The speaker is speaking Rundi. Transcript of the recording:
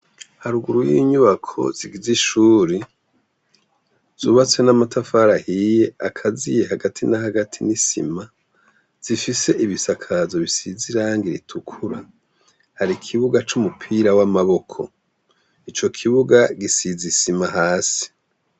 Haruguru y’inyubako zigize ishure , zubatse n’amatafari ahiye akaziye hagati na hagati n’isima, zifise ibisakazo bisize irangi ritukura hari ikibuga c’umupira w’amaboko, ico kibuga gisize isima hasi.